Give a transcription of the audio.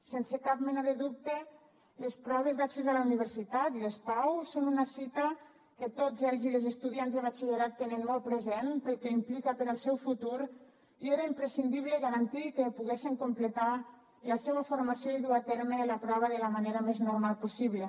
sense cap mena de dubte les proves d’accés a la universitat les pau són una cita que tots els i les estudiants de batxillerat tenen molt present pel que implica per al seu futur i era imprescindible garantir que poguessen completar la seua formació i dur a terme la prova de la manera més normal possible